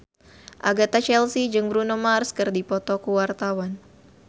Agatha Chelsea jeung Bruno Mars keur dipoto ku wartawan